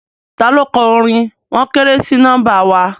Taló kọ orin "wọ́n kéré sí nọ́mbà wa"?